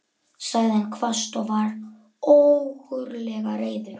sagði hann hvasst og var ógurlega reiður.